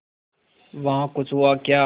वहाँ कुछ हुआ क्या